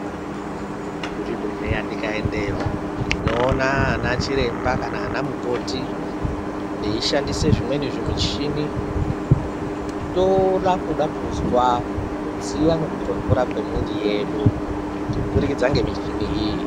Kuzvibhedhleya tikaendeyo tinoona anachiremba kana anamukoti. Veishandise zvimweni zvimichini toda kuda kuzwa kudziya nekutonhora kwemwiri yedu kubudikidza nemichini iyi.